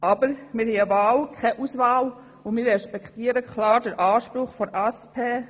Aber wir haben eine Wahl, keine Auswahl, und wir respektieren klar den Anspruch der SP.